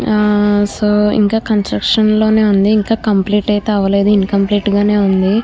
ఆ సో ఇంకా కన్స్ట్రక్షన్ లోనే ఉంది ఇంకా కంప్లీట్ అయితే అవ్వలేదు ఇంకంప్లీట్ గానే ఉంది.